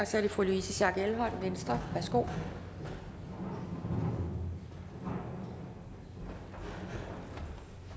så er det fru louise schack elholm venstre værsgo